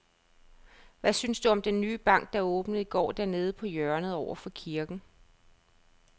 Hvad synes du om den nye bank, der åbnede i går dernede på hjørnet over for kirken?